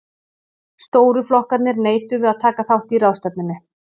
stóru flokkarnir neituðu að taka þátt í ráðstefnunni